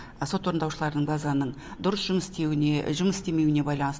сот орындаушылар базаның дұрыс жұмыс істеуіне жұмыс істемеуіне байланысты